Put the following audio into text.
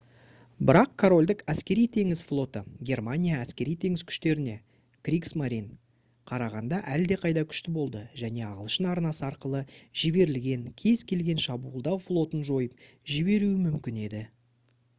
бірақ корольдік әскери-теңіз флоты германия әскери-теңіз күштеріне «кригсмарин» қарағанда әлдеқайда күшті болды және ағылшын арнасы арқылы жіберілген кез-келген шабуылдау флотын жойып жіберуі мүмкін еді